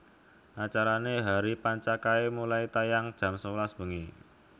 Acarane Hari Panca kae mulai tayang jam sewelas bengi